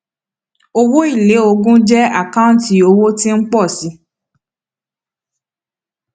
owó èlé ogún jẹ àkáǹtí owó tí ń pọ sí i